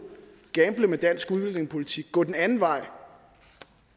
gamble med dansk udlændingepolitik gå den anden vej